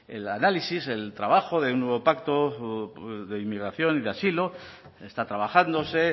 el análisis el trabajo de un nuevo pacto de inmigración y de asilo está trabajándose